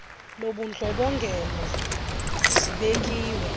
lobundlo bongela zibekiwe